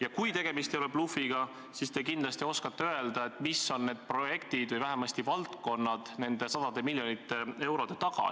Ja kui tegemist ei ole blufiga, siis te kindlasti oskate öelda, mis on need projektid või vähemasti valdkonnad nende sadade miljonite eurode taga.